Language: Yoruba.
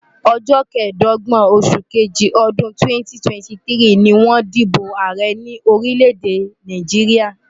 Ọjọ́ kẹẹ̀dọ́gbọ̀n oṣù kejì ọdún 2023 ni wọ́n dìbò ààrẹ ní orílẹ̀-èdè Nàìjíríà.